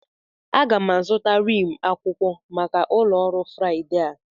Aga m azụta rim akwụkwọ maka ụlọ ọrụ Friday a.